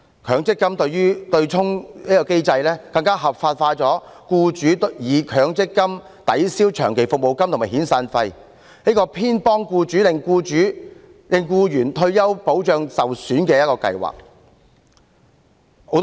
強積金對沖機制更合法化了僱主以強積金抵銷長期服務金和遣散費的做法，令強積金變為偏袒僱主、令僱員的退休保障受損的計劃。